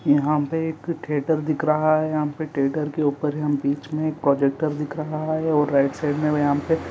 यहाँ पे एक थेयटर दिख रहा हैं यहाँ पे थेयटर के ऊपर हमें बीच में प्रोजेक्टर दिख रहा हैं और राइट साइड में हमे यहाँ पे--